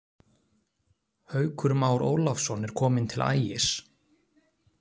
Haukur Már Ólafsson er kominn til Ægis.